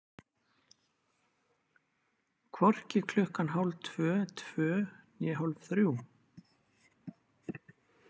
Hvorki klukkan hálftvö, tvö né hálfþrjú.